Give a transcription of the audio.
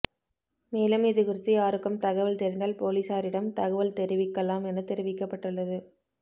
மேலும் இதுகுறித்து யாருக்கும் தகவல் தெரிந்தால் போலீசாரிடம் தகவல் தெரிவிக்கலாம் என தெரிவிக்கப்பட்டுள்ளது